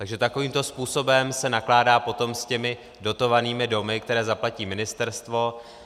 Takže takovýmto způsobem se nakládá potom s těmi dotovanými domy, které zaplatí ministerstvo.